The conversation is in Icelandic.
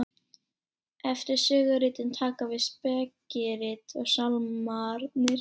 eftir söguritin taka við spekirit og sálmarnir